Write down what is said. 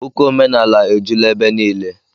Ụka omenaala ejula ebe niile.